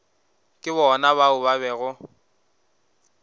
ke bona bao ba bego